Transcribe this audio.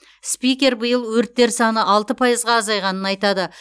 спикер биыл өрттер саны алты пайызға азайғанын айтады